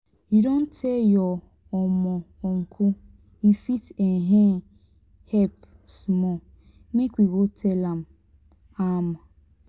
you don tell your um uncle e fit um help small make we go tell am. am.